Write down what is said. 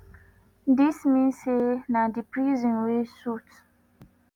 dis mean say na di prison wey suit